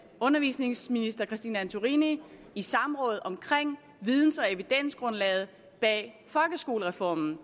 undervisningsministeren i samråd omkring videns og evidensgrundlaget bag folkeskolereformen og